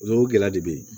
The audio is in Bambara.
O gɛlɛya de bɛ yen